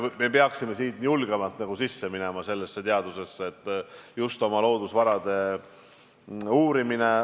Me peaksime julgemalt sellesse teadusesse sisse minema, oma loodusvarasid uurima.